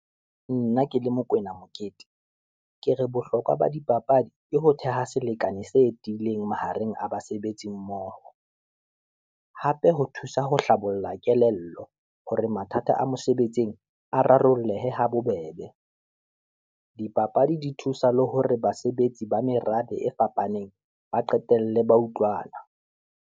Nna ke le Mokoena Mokete, ke re Bohlokwa ba dipapadi ke ho theha selekane se tiileng mahareng a basebetsi mmoho, hape ho thusa ho hlabolla kelello hore mathata a mosebetsing a rarolleha habobebe. Dipapadi di thusa le hore basebetsi ba merabe e fapaneng ba qetelle ba utlwana.